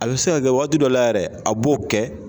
A bɛ se ka kɛ waagati dɔ la yɛrɛ a b'o kɛ.